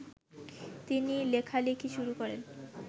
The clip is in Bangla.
তিনি লেখালেখি শুরু করেন